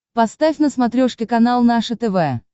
поставь на смотрешке канал наше тв